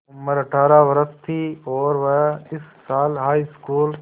उम्र अठ्ठारह वर्ष थी और वह इस साल हाईस्कूल